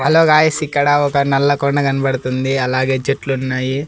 Hello guys ఇక్కడ ఒక నల్ల కొండ కనబడుతుంది అలాగే చెట్లున్నాయి.